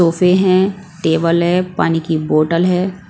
सोफे हैं टेबल है पानी की बोटल है।